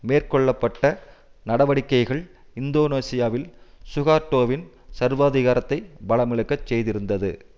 மேற்கொள்ள பட்ட நடவடிக்கைகள் இந்தோனேசியாவில் சுகார்ட்டோவின் சர்வாதிகாரத்தை பலமிழக்க செய்திருந்தது